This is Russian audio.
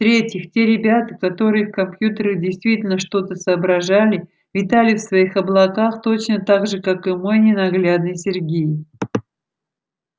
в-третьих те ребята которые в компьютерах действительно что-то соображали витали в своих облаках точно так же как и мой ненаглядный сергей